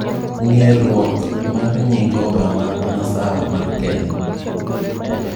Ng'eeruok mar nying Obama masawa mar Kenya